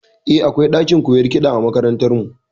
Eh, akwai ɗakin koyon kiɗa a makarantar mu